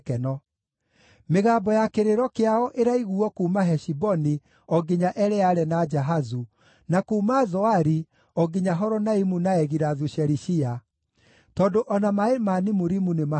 “Mĩgambo ya kĩrĩro kĩao ĩraiguuo kuuma Heshiboni o nginya Eleale na Jahazu, na kuuma Zoari o nginya Horonaimu na Egilathu-Shelishiya, tondũ o na maaĩ ma Nimurimu nĩmahũĩte.